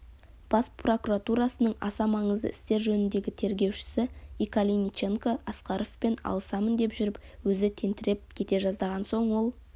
бас прокуратурасының аса маңызды істер жөніндегі тергеушісі икалиниченко асқаровпен алысамын деп жүріп өзі тентіреп кете жаздаған соң ол